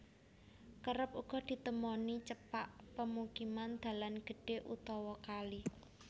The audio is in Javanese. Kerep uga ditemoni cepak pemukiman dalan gedhé utawa kali